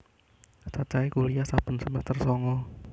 Cacahe kuliyah saben semester sanga